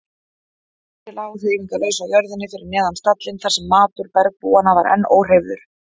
Týri lá hreyfingarlaus á jörðinni fyrir neðan stallinn þar sem matur bergbúanna var enn óhreyfður.